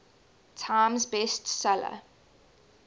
times best seller